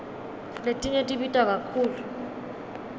letinye tibita kakhulu